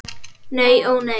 Nei ó nei.